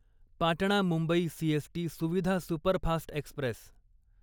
Patna Mumbai CST Suvidha superfast Express